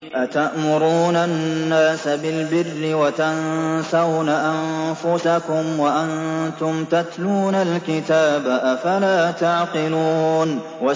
۞ أَتَأْمُرُونَ النَّاسَ بِالْبِرِّ وَتَنسَوْنَ أَنفُسَكُمْ وَأَنتُمْ تَتْلُونَ الْكِتَابَ ۚ أَفَلَا تَعْقِلُونَ